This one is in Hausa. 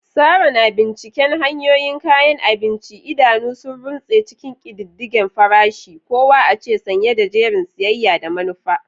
Sarah na binciken hanyoyin kayan abinci, idanu sun runtse cikin ƙididdige farashi-kowa-oce, sanye da jerin siyayya da manufa.